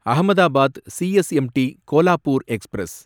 Ahmedabad CSMT Kolhapur express